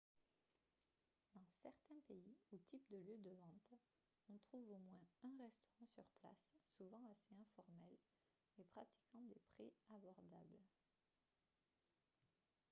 dans certains pays ou types de lieux de vente on trouve au moins un restaurant sur place souvent assez informel et pratiquant des prix abordables